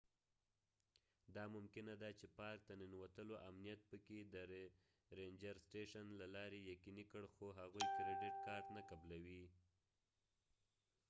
دا ممکنه ده چې پارک ته ننوتلو امنیت په puerto jiménez کې د رینجر سټیشن له لارې یقیني کړ خو هغوی کریډټ کارټ نه قبلوي